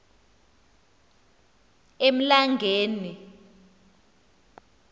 emlangeni